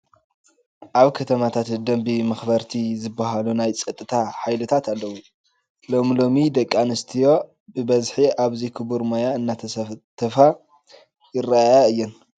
ኣብ ከተማታት ደንቢ መኽበርቲ ዝበሃሉ ናይ ፀጥታ ሃይልታት ኣለዉ፡፡ ሎሚ ሎሚ ደቂ ኣንስትዮ ብበዝሒ ኣብዚ ክቡር ሞያ እናተሳተፋ ይረአያ እየን፡፡